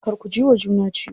Kar ku jiwa juna ciwo.